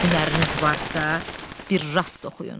Hünəriniz varsa, bir rast oxuyun.